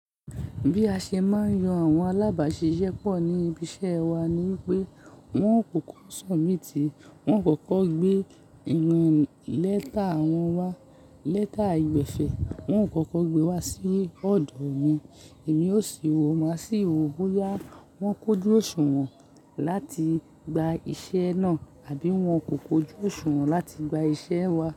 Bí a ṣe máa ń yan àwọn alábàáṣiṣẹ́ pọ̀ ní ibi iṣẹ́ wa ni pé wọ́n kò kọ́ submiti, wọ́n kò kọ́ gbé ìrìn lẹ́tà wọn wá, lẹ́tà ìgbẹ̀sẹ́, wọn kò kọ́ gbé wá sí ọ̀dọ̀ mi. Èmi yóò ṣì wò máa sí wò bo ya wọ́n kojú òṣùwọ̀n láti gba iṣẹ́ náà àbí wọ́n kò kojú òṣùwọ̀n láti gba iṣẹ́ wa.